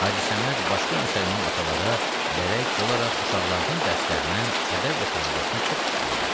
Hacı Səməd başqa müsəlman atalara bərək olaraq uşaqlarının dərslərinə, ədəb və tərbiyəsinə çox fikir verərdi.